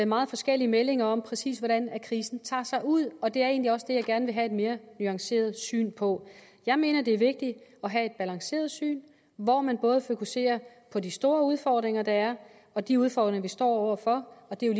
meget forskellige meldinger om præcis hvordan krisen tager sig ud og det er egentlig også det jeg gerne vil have et mere nuanceret syn på jeg mener det er vigtigt at have et balanceret syn hvor man både fokuserer på de store udfordringer der er og de udfordringer vi står over for og det er